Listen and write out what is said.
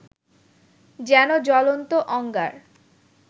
যেন জ্বলন্ত অঙ্গার